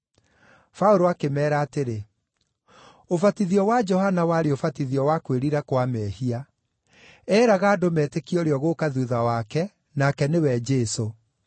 Paũlũ akĩmeera atĩrĩ, “Ũbatithio wa Johana warĩ ũbatithio wa kwĩrira kwa mehia. Eeraga andũ metĩkie ũrĩa ũgũũka thuutha wake, nake nĩwe Jesũ.”